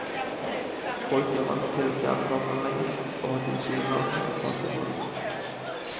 Folk er vant til kjernekraftanlegget, og har tilsynelatende en passiv holdning.